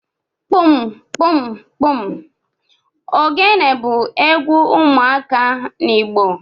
Kpụmkpụmkpụm ogene bu egwu ụmuaka n’Igbo